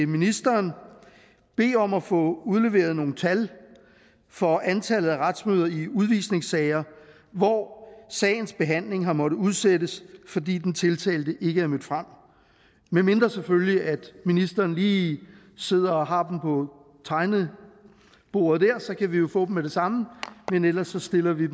ministeren bede om at få udleveret nogle tal for antallet af retsmøder i udvisningssager hvor sagens behandling har måttet udsættes fordi den tiltalte ikke er mødt frem medmindre selvfølgelig ministeren lige sidder og har dem på bordet der så kan vi jo få dem med det samme men ellers stiller vi